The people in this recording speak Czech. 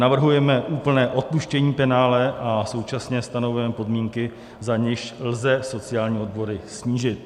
Navrhujeme úplné odpuštění penále a současně stanovujeme podmínky, za nichž lze sociální odvody snížit.